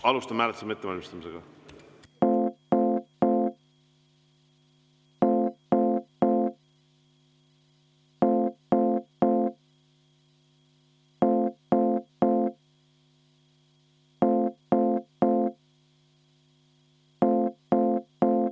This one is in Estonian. Alustame hääletamise ettevalmistamist.